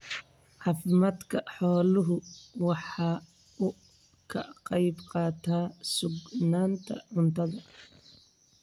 Caafimaadka xooluhu waxa uu ka qayb qaataa sugnaanta cuntada.